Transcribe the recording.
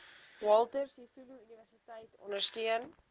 walter sisuluuniversiteit ondersteun